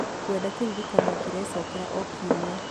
ngwenda kĩririkania kĩrecokera o kiumia